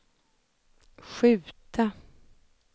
skjuta